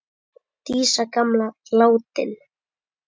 Dísa gamla er látin.